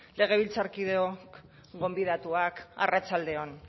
legebiltzarkideok gonbidatuak arratsalde on